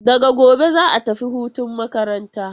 Daga gobe za'a tafi hutun makaranta.